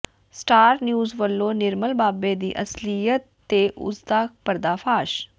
star news ਵਲੋਂ ਨਿਰਮਲ ਬਾਬੇ ਦੀ ਅਸਲੀਅਤ ਤੇ ਉਸ ਦਾ ਪਰਦਾਫਾਸ਼